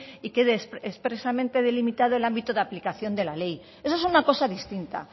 y quede expresamente delimitado el ámbito de la aplicación de la ley eso es una cosa distinta